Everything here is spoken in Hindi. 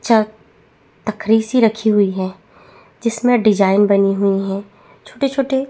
छत तकारिसि हो रही है जिसमे डिज़ाइन बनी हुई है छोटे-छोटे --